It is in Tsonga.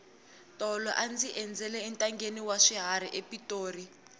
tolo a ndzi endzela entangheni wa swiharhi epitori